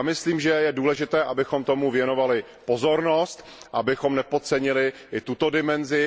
Já myslím, že je důležité, abychom tomu věnovali pozornost, abychom nepodcenili i tuto dimenzi.